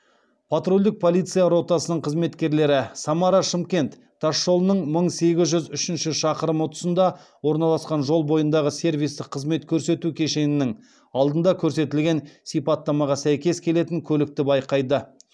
патрульдік полиция ротасының қызметкерлері самара шымкент тасжолының мың сегіз жүз үшінші шақырымы тұсында орналасқан жол бойындағы сервистік қызмет көрсету кешенінің алдында көрсетілген сипаттамаға сәйкес келетін көлікті байқайды